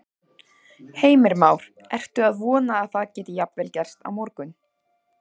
Heimir Már: Ertu að vona að það geti jafnvel gerst á morgun?